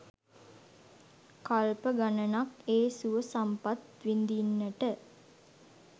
කල්ප ගණනක් ඒ සුව සම්පත් විඳින්නට